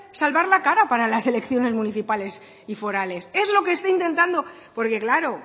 salvar la cara para las elecciones municipales y forales es lo que está intentando porque claro